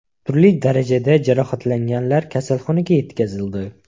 Turli darajada jarohatlanganlar kasalxonaga yetkazildi.